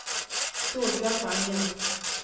Solbjørg Vangen